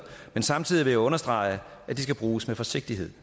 men samtidig vil jeg understrege at de skal bruges med forsigtighed